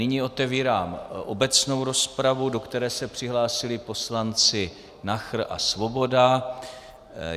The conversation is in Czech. Nyní otevírám obecnou rozpravu, do které se přihlásili poslanci Nachr a Svoboda.